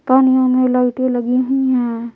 कमरे मे लाइट एलगी हुई है।